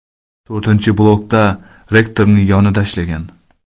To‘rtinchi blokda reaktorning yonida ishlagan.